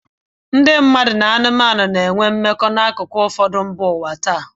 Ndị mmadụ na anụmanụ na-enwe mmekọahụ n'akụkụ ụfọdụ nke ụwa taa.